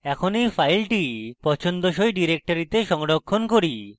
এখন এই file পছন্দসই ডিরেক্টরিতে সংরক্ষণ করি